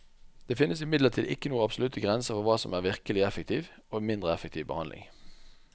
Det finnes imidlertid ikke noen absolutte grenser for hva som er virkelig effektiv og mindre effektiv behandling.